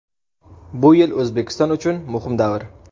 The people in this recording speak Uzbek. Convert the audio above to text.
Bu yil O‘zbekiston uchun muhim davr.